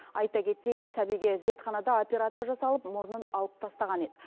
айта кетейін сәбиге зертханада операция жасалып мұрнын алып тастаған еді